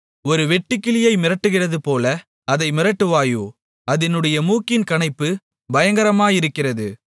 ஒரு வெட்டுக்கிளியை மிரட்டுகிறதுபோல அதை மிரட்டுவாயோ அதினுடைய மூக்கின் கனைப்பு பயங்கரமாயிருக்கிறது